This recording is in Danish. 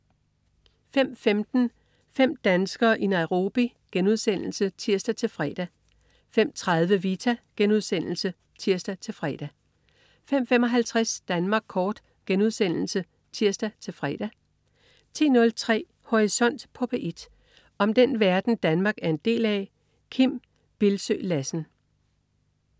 05.15 Fem danskere i Nairobi* (tirs-fre) 05.30 Vita* (tirs-fre) 05.55 Danmark Kort* (tirs-fre) 10.03 Horisont på P1. Om den verden, Danmark er en del af. Kim Bildsøe Lassen